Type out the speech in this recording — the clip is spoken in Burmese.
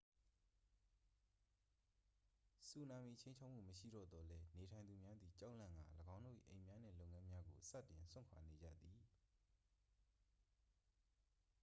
ဆူနာမီချိန်းခြောက်မှု မရှိတော့သော်လည်း နေထိုင်သူများသည် ကြောက်လန့်ကာ ၎င်းတို့၏ အိမ်များနှင့် လုပ်ငန်းများကို စတင်စွန့်ခွာနေကြသည်